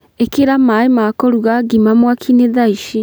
Ĩkĩra maaĩ ma kũruga ngima mwaki-inĩ thaa ici